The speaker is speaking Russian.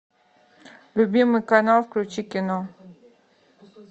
любимый канал включи кино